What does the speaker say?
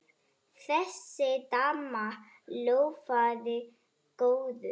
Þessi dama lofaði góðu.